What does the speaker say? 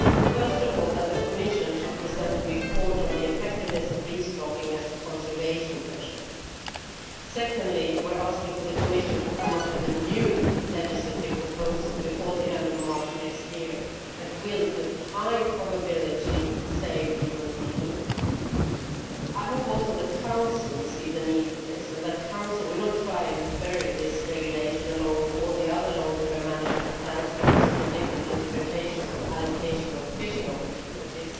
First of all, that the Commission should present a report on the effectiveness of restocking as a conservation measure. Secondly, we are asking the Commission to come up with a new legislative proposal before the end of March next year that will, with high probability, save the European eel. I hope too that the Council will see the need for this and that the Council will not try and bury this regulation along with all the other long term management plans, because of the different interpretations of allocation of fishing opportunities.